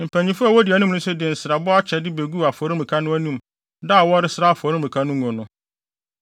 Mpanyimfo a wodi anim no nso de nsrabɔ akyɛde beguu afɔremuka no anim da a wɔresra afɔremuka no ngo no.